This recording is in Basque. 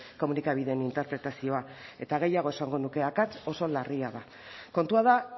komunikabideen interpretazioa eta gehiago esango nuke akats oso larria da kontua da